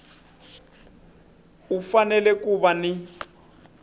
u fanele ku va ni